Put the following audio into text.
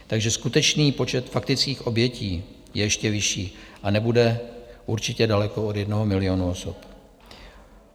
Takže skutečný počet faktických obětí je ještě vyšší a nebude určitě daleko od jednoho milionu osob.